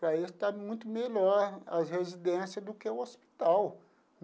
Para eles, está muito melhor a residência do que o hospital.